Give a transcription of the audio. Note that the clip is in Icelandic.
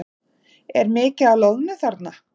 Er mikið af loðnu þarna?